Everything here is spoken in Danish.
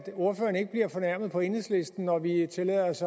ordføreren ikke bliver fornærmet på enhedslisten når vi tillader os